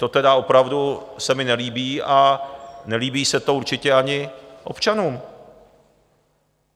To tedy opravdu se mi nelíbí a nelíbí se to určitě ani občanům.